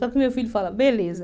Só que o meu filho fala, beleza.